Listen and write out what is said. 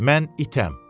Mən itəm.